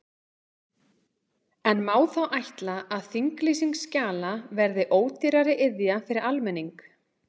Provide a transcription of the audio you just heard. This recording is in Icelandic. En má þá ætla að þinglýsing skjala verði ódýrari iðja fyrir almenning?